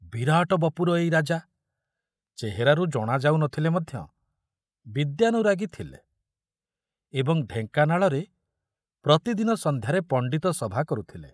ବିରାଟ ବପୁର ଏଇ ରାଜା, ଚେହେରାରୁ ଜଣା ଯାଉ ନ ଥିଲେ ମଧ୍ୟ, ବିଦ୍ୟାନୁରାଗୀ ଥିଲେ ଏବଂ ଢେଙ୍କାନାଳରେ ପ୍ରତିଦିନ ସଂଧ୍ୟାରେ ପଣ୍ଡିତ ସଭା କରୁଥିଲେ